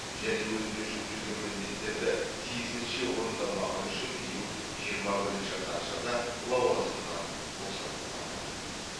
және өзіне жүктелген міндеттерді тиісінше орындамағаны үшін биыл жиырма бірінші қарашада лауазымынан босатылған болатын